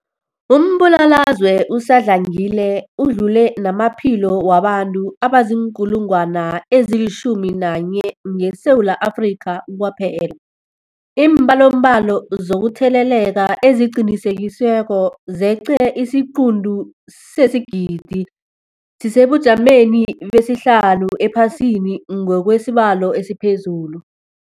Umbulalazwe usadlangile udlule namaphilo wabantu abaziinkulungwana ezi-11 ngeSewula Afrika kwaphela. Iimbalobalo zokutheleleka eziqinisekisiweko zeqe isiquntu sesigidi, sisesebujameni besihlanu ephasini ngokwesibalo esiphezulu.